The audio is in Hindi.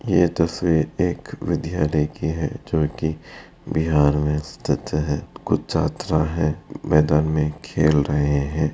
ये तस्वीर एक विद्यालय कि है जो की बिहार मे स्थित है। कुछ छात्राएं हैं मैदान में खेल रहें हैं।